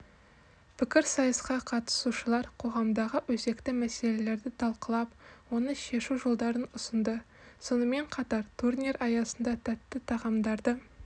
пікірсайысқа қатысушылар қоғамдағы өзекті мәселелерді талқылап оны шешу жолдарын ұсынды сонымен қатар турнир аясында тәтті тағамдарды